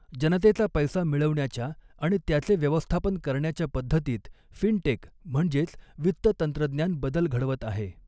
जनतेचा पैसा मिळवण्याच्या आणि त्याचे व्यवस्थापन करण्याच्या पद्धतीत फिन टेक म्हणजेच वित्त तंत्रज्ञान बदल घ़डवत आहे.